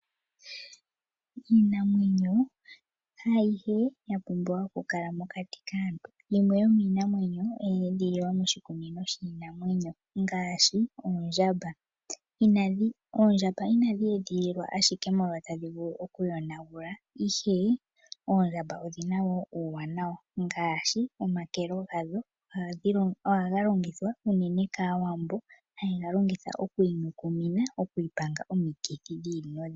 Iinamwenyo haayihe ya pumbwa okukala mokati kaantu. Yimwe yo iinamwenyo oye edhililwa moshikunino shiinamwenyo ngaashi oondjamba. Oondjamba inadhi edhililwa ashike molwa tadhi vulu okuyonagula, ihe oondjamba odhi na wo uuwanawa ngaashi omakelo gadho ohaga longithwa unene kAawambo, haye ga longitha okwiinyukumina, okwiipanga omikithi dhi ili nodhi ili.